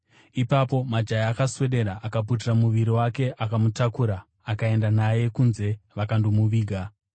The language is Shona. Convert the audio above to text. Ipapo majaya akaswedera, akaputira muviri wake, akamutakura akaenda naye kunze vakandomuviga.